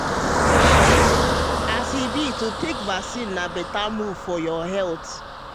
as e be to take vaccine na better move ah for your health.